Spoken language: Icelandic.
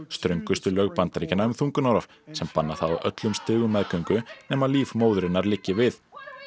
ströngustu lög Bandaríkjanna um þungunarrof sem banna það á öllum stigum meðgöngu nema líf móðurinnar liggi við